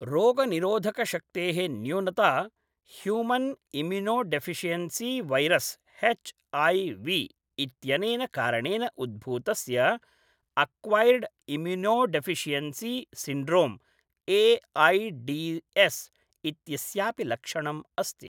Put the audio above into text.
रोगनिरोधकशक्तेः न्यूनता human immunodeficiency virus HIV. इत्यनेन कारणेन उद्भूतस्य अक्वैर्ड् इम्युनोडेफिशियेंसी सिण्ड्रोम् ए.ऐ.डि.एस् इत्यस्यापि लक्षणम् अस्ति।